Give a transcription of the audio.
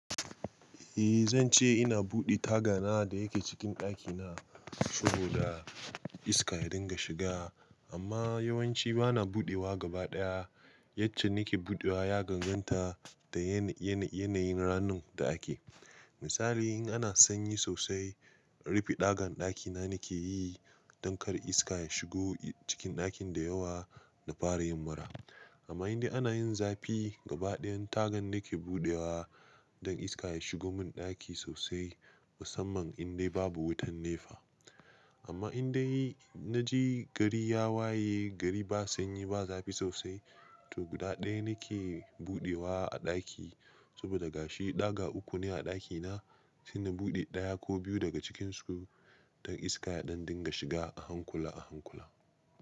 Eh zan ce ina buɗe taga na da yake cikin ɗakina saboda iska ya dinga shiga amma yawanci bana buɗewa gabaɗaya. Yacce nike buɗewa ya gagganta da yanayin ranun da ake. Misali in ana sanyi sosai, rufi ɗagan ɗakina nike yi don kar iska ya shigo cikin ɗakin da yawa na fara himmira. Amma indai ana yin zafi gabaɗayan tagan nike buɗewa don iska ya shigo mun ɗaki sosai musamman indai babu wutan nefa. Amma indai na je gari ya waye, gari ba sanyi ba zafi sosai to gudaɗaya nike buɗewa a ɗaki saboda ga shi ɗaga uku ne a ɗakina shine buɗe ɗaya ko biyu daga cikinsu don iska ya ɗan dinga shiga a hankula a hankula.